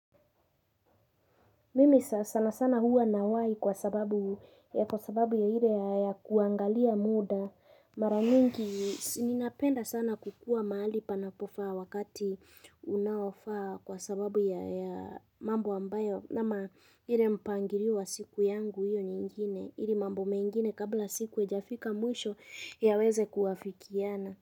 Mimi sana sana hua nawai kwa sababu ya kwa sababu ya ile ya kuangalia muda. Maramingi ninapenda sana kukua mahali panapofaa wakati unaofaa kwa sababu ya mambo ambayo. Nama ile mpangilio wa siku yangu hiyo nyingine. Hili mambo mengine kabla siku ijafika mwisho yaweze kuafikiana.